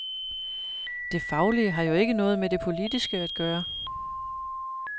Det faglige har jo ikke noget med det politiske at gøre.